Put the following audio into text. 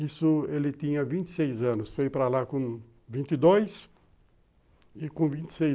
Isso ele tinha vinte e seis anos, foi para lá com vinte e dois e com vinte e seis